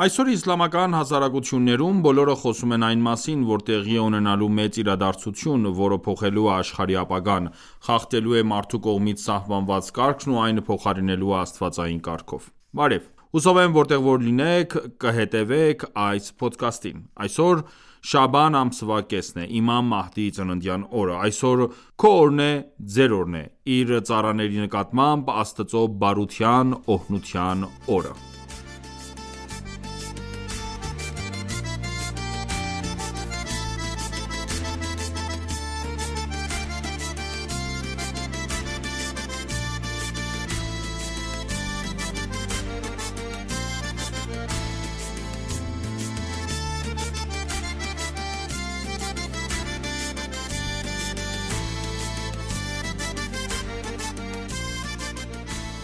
Այսօր իսլամական հասարակություններում բոլորը խոսում են այն մասին, որ տեղի է ունենալու մեծ իրադարձություն, որը փոխելու է աշխարհի ապագան, խախտելու է մարդու կողմից սահմանված կարգն ու այն փոխարինելու է աստվածային կարգով։ Բարև։ Հուսով եմ որտեղ որ լինես, կհետևես այս փոդքասթին։ Այսօր շաաբան ամսվա կեսն է՝ իմամ Մահդիի ծննդյան օրը։ Այսօր քո օրն է,Իր ծառաների նկատմամբ Աստծո բարության, օրհնության օրը։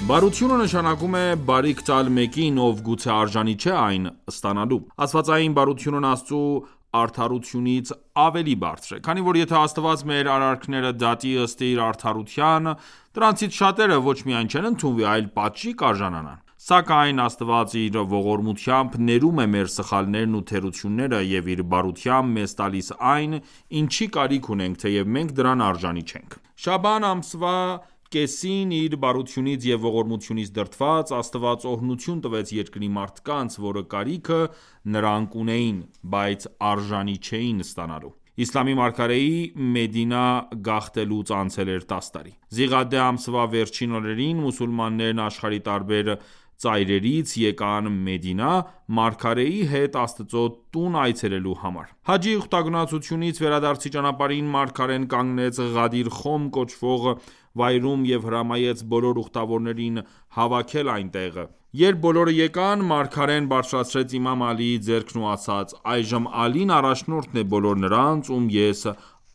Բարությունը նշանակում է բարիք տալ մեկին, ով գուցե արժանի չէ այն ստանալու։ Աստվածային բարությունն Աստծու արդարությունից ավելի բարձր է։ Քանի որ եթե Աստված մեր արարքները դատի ըստ իր արդարության, դրանցից շատերը ոչ միայն չեն ընդունվի, այլ պատժի արժանի կլինեն: Սակայն Աստված իր ողորմությամբ ներում է մեր սխալներն ու թերությունները, և իր բարությամբ մեզ տալիս այն, ինչի կարիքն ունենք, թեև մենք դրան արժանի չենք: Շաաբան ամսվա կեսին, իր բարությունից և ողորմությունից դրդված, Աստված օրհնություն տվեց երկրի մարդկանց, որի կարիքը նրանք ունեին, բայց արժանի չէին ստանալու: Իսլամի մարգարեի՝ Մեդինա գաղթելուց անցել էր 10 տարի։ Զիղաադե ամսվա վերջին օրերին մուսուլմաններն աշխարհի տարբեր ծայրերից եկան Մեդինա՝ մարգարեի հետ Աստծո տուն այցելելու համար։ Հաջի ուխտագնացությունից վերադարձի ճանապարհին մարգարեն կանգնեց Ղադիր Խոմ կոչվող վայրում և հրամայեց բոլոր ուխտավորներին հավաքել այնտեղ։ Երբ բոլորը եկան, մարգարեն բարձրացրեց իմամ Ալիի ձեռքն ու ասաց․ «Այժմ Ալին առաջնորդն է բոլոր նրանց, ում ես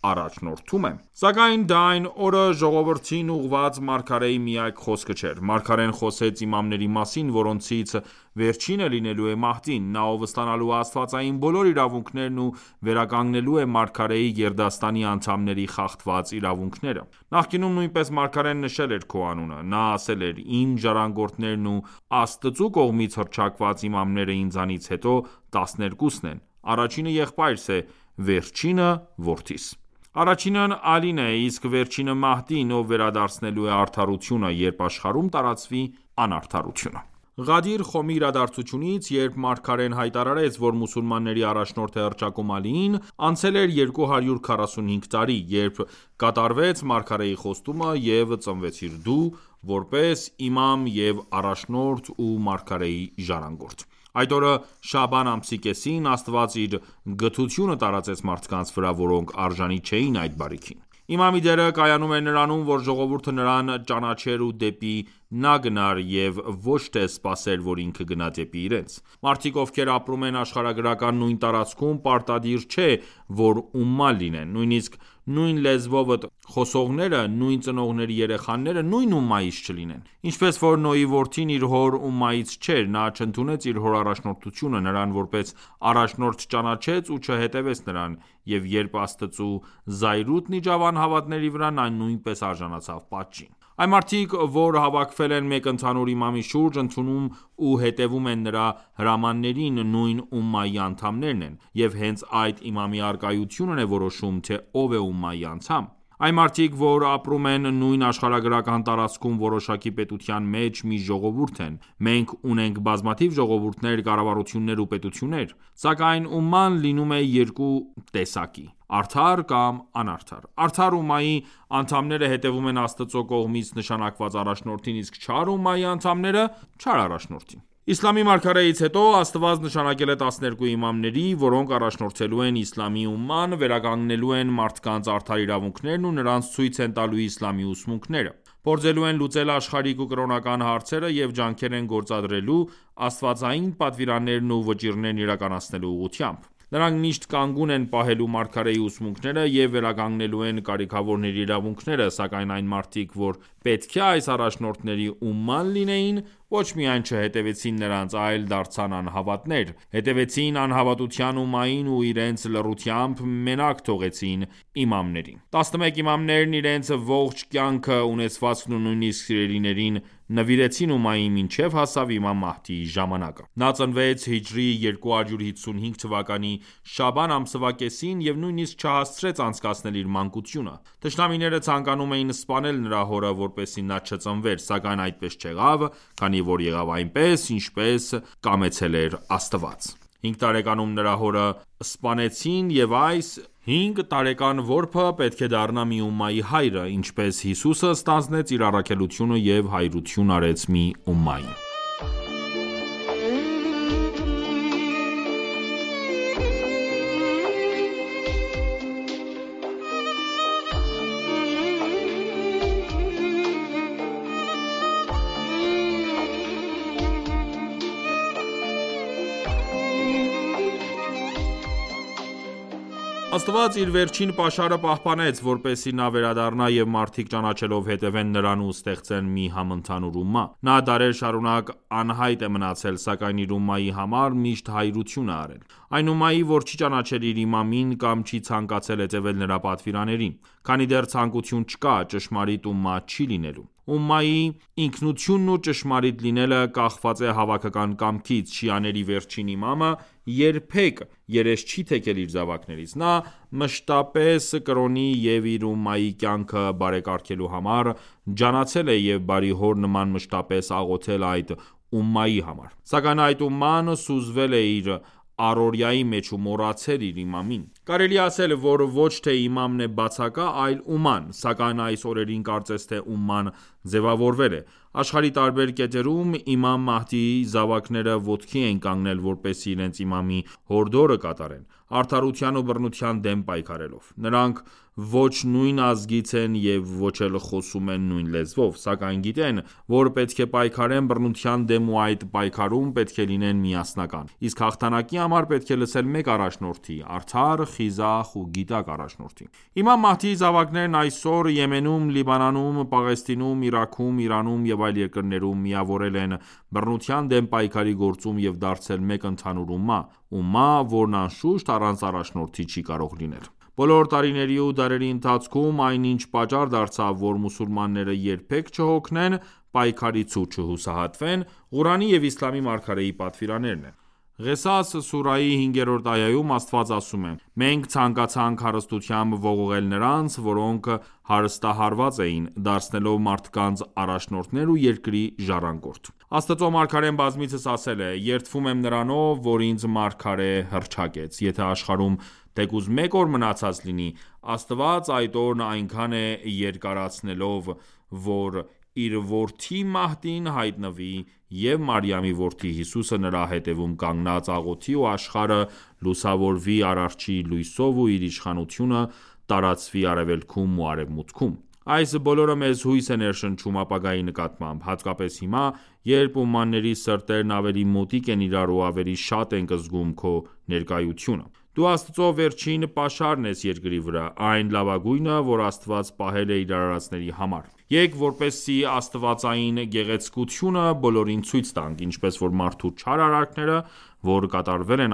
առաջնորդում եմ»։ Սակայն դա այդ օրը ժողովրդին ուղղված մարգարեի միակ խոսքը չէր։ Մարգարեն խոսեց իմամների մասին, որոնցից վերջինը լինելու է Մահդին։ Նա, ով ստանալու է աստվածային բոլոր իրավունքներն ու վերականգնելու է մարգարեի գերդաստանի անդամների խախտված իրավունքները։ Նախկինում նույնպես մարգարեն նշել էր Քո անունը։ Նա ասել էր․ «Իմ ժառանգորդներն ու Աստծու կողմից հռչակված իմամները ինձանից հետո 12 -ն են։ Առաջինը եղբայրս է, վերջինը՝ որդիս։ Առաջինն Ալին է, իսկ վերջինը Մահդին, ով վերադարձնելու է արդարությունը, երբ աշխարհում տարածվի անարդարությունը»։ Ղադիր Խոմի իրադարձությունից, երբ մարգարեն հայտարարեց, որ մուսուլմանների առաջնորդ է հռչակում Ալիին, անցել էր 245 տարի, երբ կատարվեց մարգարեի խոստումը և ծնվեցիր դու՝ որպես իմամ և առաջնորդ ու մարգարեի ժառանգորդ։ Այդ օրը՝ շաաբան ամսի կեսին, Աստված իր գթությունը տարածեց մարդկանց վրա, որոնք արժանի չէին այդ բարիքին։ Իմամի դերը կայանում էր նրանում, որ ժողովուրդը նրան ճանաչեր ու դեպի նա գնար և ոչ թե սպասեր, որ ինքը գնա դեպի իրենց։ Մարդիկ ովքեր ապրում են աշխարհագրական նույն տարածքում, պարտադիր չէ, որ ումմա լինեն։ Նույնիսկ նույն լեզվով խոսողները, նույն ծնողների երեխաները նույն ումմայից չլինեն։ Ինչպես որ Նոյի որդին իր հոր ումմայից չէր։ Նա չընդունեց իր հոր առաջնորդությունը, նրան որպես առաջնորդ չճանաչեց ու չհետևեց նրան։ Եվ երբ Աստծու զայրույթն իջավ անհավատների վրա, նա նույնպես արժանացավ պատժին։ Այն մարդիկ, որ հավաքվել են մեկ ընդհանուր իմամի շուրջ, ընդունում ու հետևում են նրա հրամաններին, նույն ումմայի անդամներ են։ Եվ հենց այդ իմամի առկայությունն է որոշում, թե ով է ումմայի անդամ։ Այն մարդիկ, որ ապրում են նույն աշխարհագրական տարածքում, որոշակի պետության մեջ, մի ժողովուրդ են։ Մենք ունենք բազմաթիվ ժողովուրդներ, կառավարություններ ու պետություններ։ Սակայն ումման լինում է երկու տեսակի՝ արդար կամ անարդար։ Արդար ումմայի անդամները հետևում են Աստծու կողմից նշանակված առաջնորդին, իսկ չար ումմայի անդամները՝ չար առաջնորդին։ Իսլամի մարգարեից հետո Աստված նշանակել է 12 իմամների, որոնք առաջնորդելու են իսլամի ումման, վերականգնելու են մարդկանց արդար իրավունքներն ու նրանց ցույց են տալու իսլամի ուսմունքները, փորձելու են լուծել աշխարհիկ ու կրոնական հարցերը և ջանքեր են գործադրելու՝ աստվածային պատվիրաններն ու վճիռներն իրականացնելու ուղղությամբ։ Նրանք միշտ կանգուն են պահելու մարգարեի ուսմունքները, և վերականգնելու են կարքիավորների իրավունքները։ Սակայն այն մարդիկ, որ պետք է այս առաջնորդների ումման լինեին, ոչ միայն չհետևեցին նրանց, այլ դարձան անհավատներ, հետևեցին անհավատության ումմային ու իրենց լռությամբ մենակ թողեցին իմամներին։ 11 իմամներն իրենց ողջ կյանքը, ունեցվածքն ու նույնիսկ սիրելիներին նվիրեցին ումմային, մինչև հասավ իմամ Մահդիի ժամանակը։ Նա ծնվեց հիջրեթի 255 թվականի շաաբան ամսվա կեսին և նույնիսկ չհասցրեց անցկացնել իր մանկությունը։ Թշնամիները ցանկանում էին սպանել նրա հորը, որպեսզի նա չծնվեր։ Սակայն այդպես չեղավ, քանի որ եղավ այնպես, ինչպես կամեցել էր Աստված։ 5 տարեկանում նրա հորը սպանեցին։ Եվ այս 5 որբը պետք է դառնա մի ումմայի հայրը, ինչպես Հիսուսը ստանձնեց իր առաքելությունը և հայրություն արեց մի ումմայի։ Աստված իր վերջին պաշարը պահպանեց, որպեսզի նա վերադառնա և մարդիկ ճանաչելով հետևեն նրան ու ստեղծեն մի համընդհանուր ումմա։ Նա դարեր շարունակ անհայտ է մնացել, սակայն իր ումմայի համար միշտ հայրություն է արել։ Այն ումմայի, որ չի ճանաչել իր իմամին կամ չի ցանկացել հետևել նրա պատվիրաններին։ Քանի դեռ ցանկութիուն չկա, ճշմարիտ ումմա չի լինելու։ Ումմայի ինքնությունն ու ճշմարիտ լինելը կախված է հավաքական կամքից։ Շիաների վերջին իմամը երբեք երես չի թեքել իր զավակներից։ Նա մշտապես կրոնի և իր ումմայի կյանքը բարեկարգելու համար ջանացել է և բարի հոր նման մշտապես աղոթել այդ ումմայի համար։ Սակայն այդ ումման սուզվել է իր առօրյայի մեջ ու մոռացել իր իմամին։ Կարելի է ասել որ ոչ թե իմամն է բացակա, այլ ումման։ Սակայն այս օրերին կարծես թե ումման ձևավորվել է։ Աշխարհի տարբեր կետերում իմամ Մահդիի զավաները ոտքի են կանգնել, որպեսզի իրենց իմամի հորդորը կատարեն՝ արդարության ու բռնության դեմ պայքարելով։ Նրանք ոչ նույն ազգից են և ոչ էլ խոսում են նույն լեզվով։ Սակայն գիտեն, որ պետք է պայքարեն բռնության դեմ ու այդ պայքարում պետք է լինեն միասնական։ Իսկ հաղթանակի համար պետք է լսել մեկ առաջնորդի՝ արդար, խիզախ ու գիտակ առաջնորդի։ Իմամ Մահդիի զավակներն այսօր Եմենում, Լիբանանում, Պաղեստինում, Իրաքում, Իրանում և այլ երկրներում միավորվել են բռնության դեմ պայքարի գործում և դարձել մեկ ընդհանուր ումմա։ Ումմա, որն անշուշտ առանց առաջնորդի չի կարող լինել։ Բոլոր տարիների ու դարերի ընթացքում, այն ինչ պատճառ դարձավ, որ մուսուլմանները երբեք չհոգնեն պայքարից ու չհուսահատվեն, Ղուրանի և իսլամի մարգարեի պատվիրաններն են։ Ղեսաս ուսրահի 5-րդ այայում Աստված ասում է․ «Մենք ցանկացանք հարստությամբ ողողել նրանց, որոնք հարստահարված էին՝ դարձնելով առաջնորդներ ու ժառանգորդ»։ Աստծո մարգարեն բազմիցս ասել է․ «Երդվում եմ Նրանով, որ ինձ մարգարե հռչակեց։ Եթե աշխարհում թեկուզ մեկ օր մնացած լինի, Աստված այդ օրն այնքան է երկարացնելու, որ իր որդի Մահդին հայտնվի և Մարիամի որդի Հիսուսը նրա հետևում կանգնած աղոթի ու աշխարհը լուսավորվի Արարչի լույսով ու իր իշխանությունը տարածվի Արևելքում ու Արևմուտքում»։ Այս բոլորը մեզ հույս է ներշնչում ապագայի նկատմամբ։ Հատկապես հիմա, երբ ումմաների սրտերն ավելի մոտիկ են իրար ու ավելի շատ ենք զգում քո ներկայությունը։ Դու Աստծու վերջին պաշարն ես երկրի վրա։ Այն լավագույնը, որ Աստված պահել է իր արարածների համար։ Եկ, որպեսզի աստվածային գեղեցկությունը բոլորին ցույց տանք։ Ինչպես որ մարդու չար արարքները որ կատարվել են